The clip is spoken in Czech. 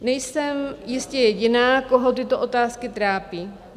Nejsem jistě jediná, koho tyto otázky trápí.